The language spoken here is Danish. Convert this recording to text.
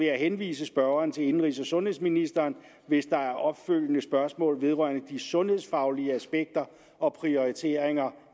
jeg henvise spørgeren til indenrigs og sundhedsministeren hvis der er opfølgende spørgsmål vedrørende de sundhedsfaglige aspekter og prioriteringer